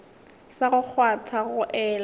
sa go kgwatha go ela